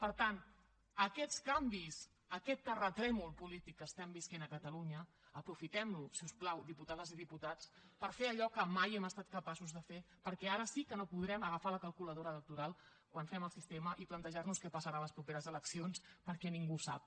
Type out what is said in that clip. per tant aquests canvis aquest terratrèmol polític que estem vivint a catalunya aprofitem lo si us plau diputades i diputats per fer allò que mai hem estat capaços de fer perquè ara sí que no podrem agafar la calculadora electoral quan fem el sistema i plantejar nos què passarà a les properes eleccions perquè ningú ho sap